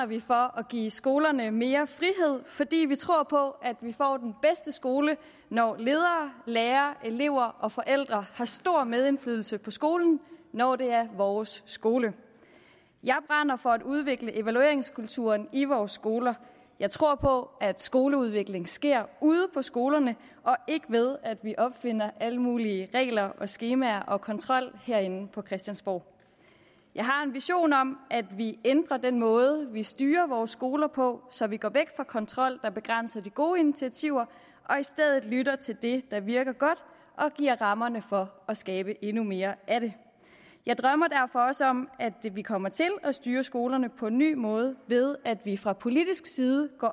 vi for at give skolerne mere frihed fordi vi tror på at vi får den bedste skole når ledere lærere elever og forældre har stor medindflydelse på skolen når det er vores skole jeg brænder for at udvikle evalueringskulturen i vores skoler jeg tror på at skoleudvikling sker ude på skolerne og ikke ved at vi opfinder alle mulige regler skemaer og kontrol herinde på christiansborg jeg har en vision om at vi ændrer den måde vi styrer vores skoler på så vi går væk fra kontrol der begrænser de gode initiativer og i stedet lytter til det der virker godt og giver rammerne for at skabe endnu mere af det jeg drømmer derfor også om at vi kommer til at styre skolerne på en ny måde ved at vi fra politisk side går